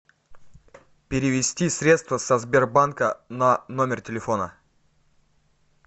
перевести средства со сбербанка на номер телефона